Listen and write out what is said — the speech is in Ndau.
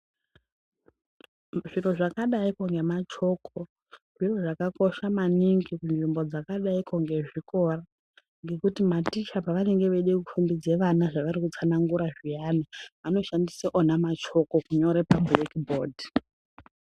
Zviro zvakadayi ngemachoko ,zviro zvakakosha maningi kunzvimbo dzakadai ngezvikora kuti maticha pavanenge vechifundise vana zvavanotsanagura zviyani vanoshandise machoko kunyore pabhuraki- bhodhi.